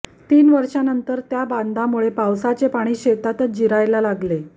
तीन वर्षांनंतर त्या बांधांमुळे पावसाचे पाणी शेतातच जिरायला लागले